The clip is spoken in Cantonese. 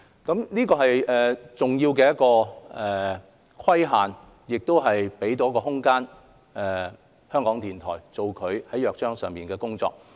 這是一個重要的規限，亦給港台一個空間做《港台約章》所訂的工作。